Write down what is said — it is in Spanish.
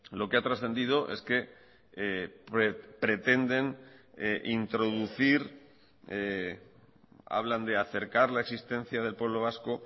lo que ha trascendido es que pretenden introducir hablan de acercar la existencia del pueblo vasco